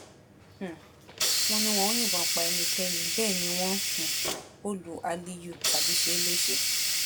um wọn ní wọn ò yìnbọn pa ẹnikẹni bẹẹ ni wọn um ò lu aliyu tàbí ṣe é léṣe